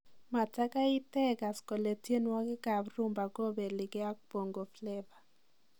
Mogoi itegas kole tienwokiek ab Rhumba kobeligei ak Bongo Fleva.